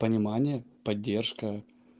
понимание поддержка